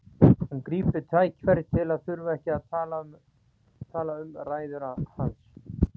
Hún grípur tækifærið til að þurfa ekki að tala um ræður hans.